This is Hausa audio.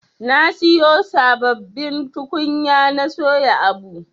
Na siyo sabbabin tukunya na soya abu.